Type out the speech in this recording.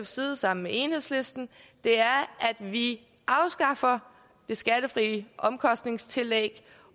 side sammen med enhedslisten er at vi afskaffer det skattefri omkostningstillæg